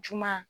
Juma